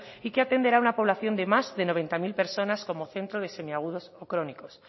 y que atenderá a una población de más de noventa mil personas como centro de semiagudos o crónicos